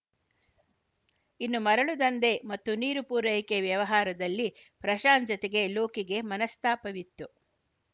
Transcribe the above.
ಇನ್ನು ಮರಳು ದಂಧೆ ಮತ್ತು ನೀರು ಪೂರೈಕೆ ವ್ಯವಹಾರದಲ್ಲಿ ಪ್ರಶಾಂತ್‌ ಜತೆಗೆ ಲೋಕಿಗೆ ಮನಸ್ತಾಪವಿತ್ತು